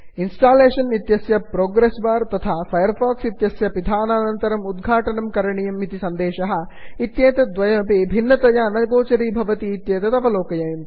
installation इत्यस्य progress bar तथा Firefox इत्यस्य पिधानानन्तरम् उद्घाटनं करणीयम् इति सन्देशः इत्येतद्द्वयमपि भिन्नतया न गोचरीभवति इत्येतत् अवलोकनीयम्